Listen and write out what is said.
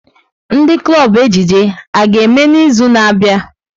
Ndị klọb ejije a ga-eme n'izu na-abịa?